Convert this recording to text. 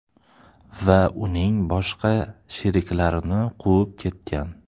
va uning boshqa sheriklarini quvib ketgan.